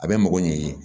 A bɛ mago ɲɛ